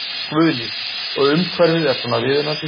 Guðný: Og umhverfið er svona viðunandi?